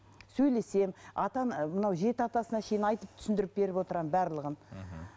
сөйлесемін ата ана мынау жеті атасына шейін айтып түсіндіріп беріп отырамын барлығын мхм